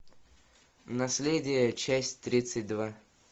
наследие часть тридцать два